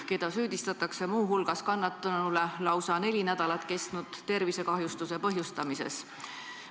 Teda süüdistatakse muu hulgas kannatanule lausa neli nädalat kestnud tervisekahjustuse põhjustamises.